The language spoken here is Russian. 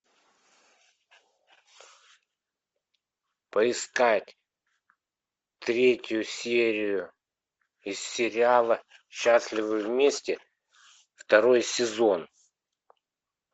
поискать третью серию из сериала счастливы вместе второй сезон